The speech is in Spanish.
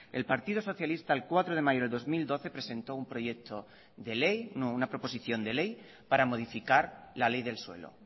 el partido socialista el cuatro de mayo de dos mil doce presentó una proposición de ley para modificar la ley del suelo